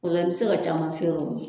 O la i bɛ se ka caman feere